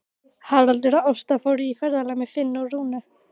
Haraldur og Ásta fóru í ferðalag með Finni og Rúnu.